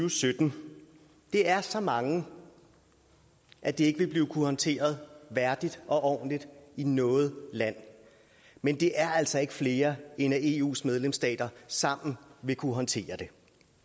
og sytten det er så mange at det ikke vil kunne håndteres værdigt og ordentligt i noget land men det er altså ikke flere end at eus medlemsstater sammen vil kunne håndtere det